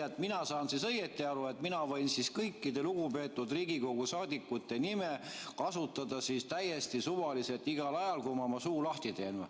Nii et mina saan siis õigesti aru, et mina võin kõikide lugupeetud Riigikogu liikmete nime kasutada täiesti suvaliselt, igal ajal, kui ma oma suu lahti teen.